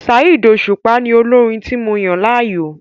Saheed Osupa ni olórin tí mo yàn láàyò.